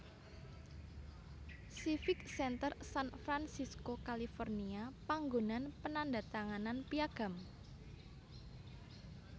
Civic Center San Francisco California panggonan penandhatanganan Piagam